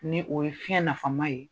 Ni o ye fiɲɛ nafama ye